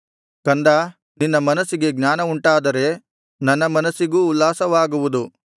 ಕಂದಾ ನಿನ್ನ ಮನಸ್ಸಿಗೆ ಜ್ಞಾನವುಂಟಾದರೆ ನನ್ನ ಮನಸ್ಸಿಗೂ ಉಲ್ಲಾಸವಾಗುವುದು